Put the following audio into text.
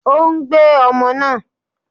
Ó ń gbé ọmọ náà.